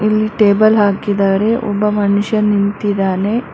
ಇಲ್ ಟೇಬಲ್ ಹಾಕಿದರೆ ಒಬ್ಬ ಮನ್ಶ ನಿಂತಿದ್ದಾನೆ.